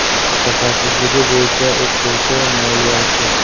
Mutaxassisligi bo‘yicha o‘qituvchi, moliyachi.